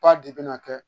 Ba de bɛna kɛ